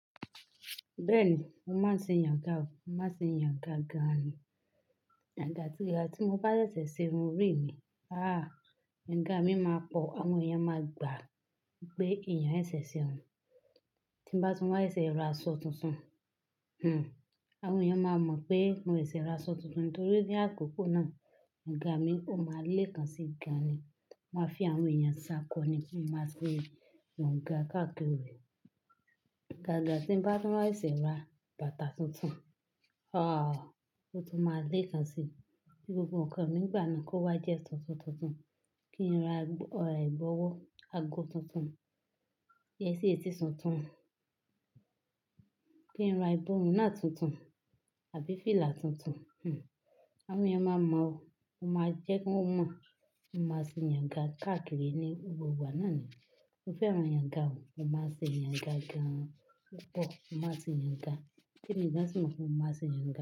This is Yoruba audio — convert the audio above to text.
Bẹ́ẹ̀ni, mo máa ń ṣe ìyànga o, mo máa ń ṣe ìyànga gan-an ni. Ìgbà tí mo bá ṣẹ̀ṣẹ̀ ṣe irun rí mi, ah! Yànga mí máa pọ̀, àwọn èèyàn máa gbà pé èeyàn ṣẹ̀ṣẹ̀ irun. Tí mo bá tún wá ṣẹ̀ṣẹ̀ ra aṣọ tuntun, hmm àwọn èèyàn máa mọ̀ pé mo ṣẹ̀ṣẹ̀ ra aṣọ tuntun nítorí ní àkókò náà, yànga mi ó máa leè kan sí gaani. Mo máa fi àwọn èèyàn ṣákọ́ ni kí máa se yànga káàkiri. Àgàgà tí mo bá tún wá ṣẹ̀ṣẹ̀ ra bàtà tuntun, ah! Ó tún máa leè kan sí gbogbo nǹkan mi ìgbà náà kó wá jẹ́ tuntun tuntun. Kí n rà ẹ̀gb'ọwọ́ ago tuntun, yetí etí tuntun. Kí n ra ìborùn náà tuntun àbí fìlà tuntun, hmm àwọn èèyàn máa mọ̀ o, mo máa jẹ́ kí wọ́n mọ̀. Mo máa ṣe ìyànga káàkiri ní gbogbo ìgbà náà ni. Mo fẹ́ran ìyànga o, mo máa ṣe ìyànga gan-an púpọ̀, mo máa ṣe ìyànga. Kí ni ìdánso fún máa ṣe ìyànga?